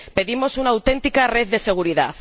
Pedimos una auténtica red de seguridad.